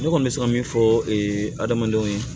Ne kɔni bɛ se ka min fɔ ee adamadenw ye